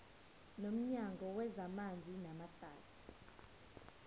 nomnyango wezamanzi namahlathi